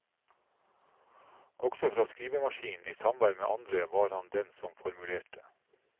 Også borte fra skrivemaskinen, i samvær med andre, var han den som formulerte.